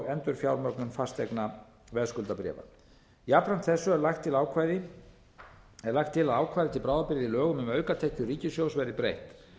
endurfjármögnun fasteignaveðskuldabréfa jafnframt þessu er lagt til ákvæði til bráðabirgða í lögum um aukatekjur ríkissjóðs verði breytt